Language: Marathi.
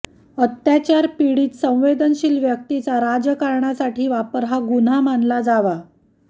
अत्याचार पिडित संवेदनशिल व्यक्तीचा राजकारणासाठी वापर हा गुन्हा मानला जावा